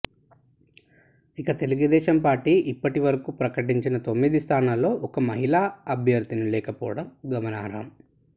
ఇక తెలుగుదేశం పార్టీ ఇప్పటి వరకూ ప్రకటించిన తొమ్మిది స్థానాల్లో ఒక్క మహిళా అభ్యర్థిని లేకపోవడం గమనార్హం